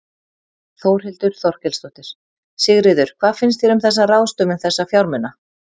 Þórhildur Þorkelsdóttir: Sigríður, hvað finnst þér um þessa ráðstöfun þessa fjármuna?